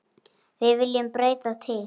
Viljum við breyta til?